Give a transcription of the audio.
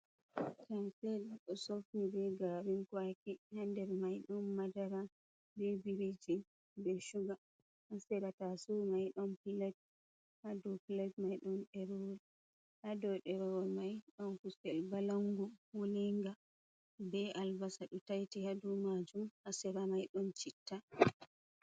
"Kanfel do sofni be garin kwaki ha nder mai ɗon madara ɓe biriji be shuga ha sira taso mai ɗon pilet ha dou pilet mai ɗo ɗerewol ha ɗo ɗerewol mai ɗon kusel balangu wolinga be albasa ɗo taiti ha dou majum ha sera mai ɗon citta.